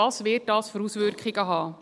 Welche Auswirkungen wird dies haben?